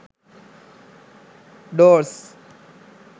doors